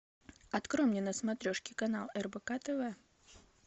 открой мне на смотрешке канал рбк тв